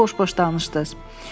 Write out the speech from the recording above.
Bəsdir, boş-boş danışdınız.